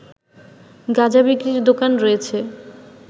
গাঁজা বিক্রির দোকান রয়েছে